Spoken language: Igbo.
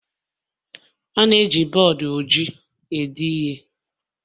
A na-eji bọọdụ ojii ede ihe